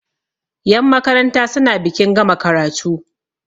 yanmakaranta suna bikin gama karatu